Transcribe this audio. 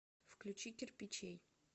включи кирпичей